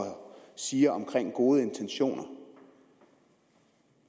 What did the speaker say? siger om gode intentioner